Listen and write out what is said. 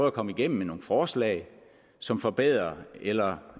at komme igennem med nogle forslag som forbedrer eller